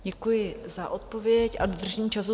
Děkuji za odpověď a dodržení času.